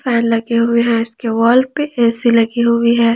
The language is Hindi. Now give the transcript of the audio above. पहला किया हुआ दिवाल पे ए_सी लगी हुई है।